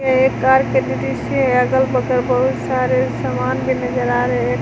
यह एक कार की दृश्य है अगल बगल बहुत सारे सामान भी नजर आ रहे हैं।